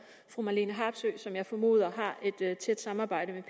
fru marlene harpsøe som jeg formoder har et tæt samarbejde